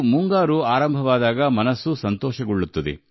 ಮುಂಗಾರು ಮಳೆ ಬಂದರೆ ಮನಸ್ಸಿಗೂ ಮುದವಾಗುತ್ತದೆ